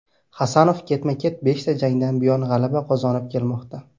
Hasanov ketma-ket beshta jangdan buyon g‘alaba qozonib kelmoqda.